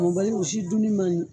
Mɔbaliw u si duuni man ɲi.